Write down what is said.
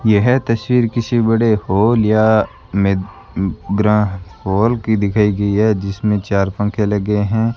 यह तस्वीर किसी बड़े हॉल या मद्रा हॉल की दिखाई गई है जिसमें चार पंखे लगे हैं।